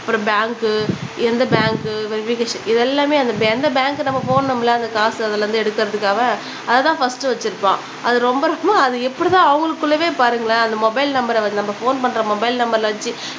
அப்புறம் பேங்க்கு எந்த பேங்க்கு வெரிஃபிகேஷ் இது எல்லாமே அந்த எந்த பேங்க்கு நம்ம போடணும்ல அந்த காசு அதுல இருந்து எடுக்குறதுக்காக அத தான் ஃபஸ்ட் வச்சுருப்பான் அது ரொம்ப ரொம்ப அது எப்பிடி தான் அவங்களுக்குள்ளவே பாருங்களேன் அந்த மொபைல் நம்பர நம்ம ஃபோன் பண்ற மொபைல் நம்பர வச்சு